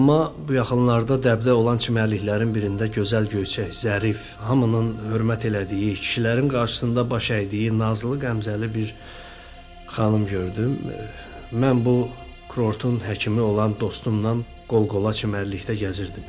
Amma bu yaxınlarda dəbdə olan çimərliklərin birində gözəl, göyçək, zərif, hamının hörmət elədiyi, kişilərin qarşısında baş əydiyi nazlı qəmzəli bir xanım gördüm, mən bu kurortun həkimi olan dostumla qol-qola çimərlikdə gəzirdim.